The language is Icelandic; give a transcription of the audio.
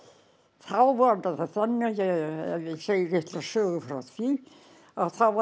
þá var það þannig að ef ég segi litla sögu frá því að þá var